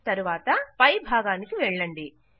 తరువాత పై భాగానికి వెళ్ళండి